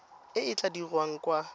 e e tla dirwang kwa